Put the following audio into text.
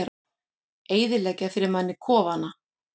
Eyðileggja fyrir manni kofana!